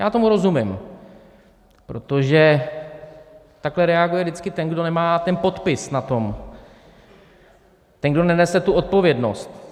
Já tomu rozumím, protože takhle reaguje vždycky ten, kdo nemá ten podpis na tom, ten, kdo nenese tu odpovědnost.